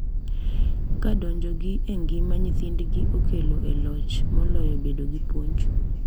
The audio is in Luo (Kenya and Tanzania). Ka donjogi e ngima nyithindgi okalo e loch moloyo bedo gi puonj.